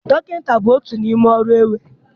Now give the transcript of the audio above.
Dọkịta bụ otu n'ime ọrụ e nwere.